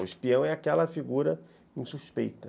O espião é aquela figura insuspeita.